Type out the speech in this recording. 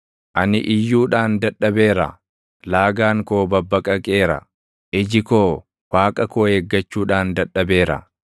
Ani iyyuudhaan dadhabeera; laagaan koo babbaqaqeera; iji koo, Waaqa koo eeggachuudhaan dadhabeera.